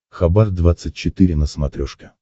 хабар двадцать четыре на смотрешке